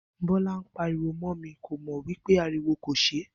Bó̩lá ń pariwo mó̩ mi, kò ye wí pé ariwo kò s̩e